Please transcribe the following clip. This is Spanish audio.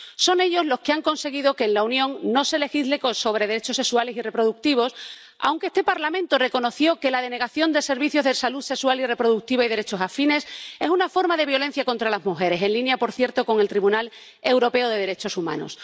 Son ellos los que han conseguido que en la Unión no se legisle sobre derechos sexuales y reproductivos, aunque este Parlamento reconoció que la denegación de servicios de salud sexual y reproductiva y derechos afines es una forma de violencia contra las mujeres, en línea, por cierto, con el Tribunal Europeo de Derechos Humanos.